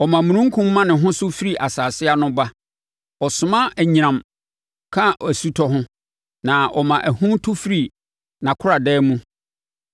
Ɔma omununkum ma ne ho so firi asase ano ba; ɔsoma anyinam ka osutɔ ho na ɔma ahum tu firi nʼakoradan mu.